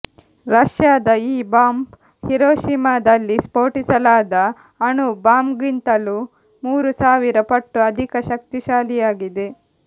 ರಷ್ಯಾದ ಈ ಬಾಂಬ್ ಹಿರೋಶಿಮಾದಲ್ಲಿ ಸ್ಫೋಟಿಸಲಾದ ಅಣು ಬಾಂಬ್ಗಿಂತಲೂ ಮೂರು ಸಾವಿರ ಪಟ್ಟು ಅಧಿಕಶಕ್ತಿಶಾಲಿಯಾಗಿದೆ